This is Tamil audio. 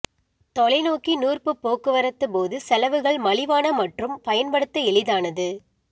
தொலைநோக்கி நூற்பு போக்குவரத்து போது செலவுகள் மலிவான மற்றும் பயன்படுத்த எளிதானது